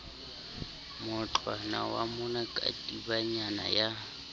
mootlwana wa moma katibanyana ya